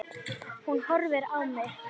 Hún horfir á mig.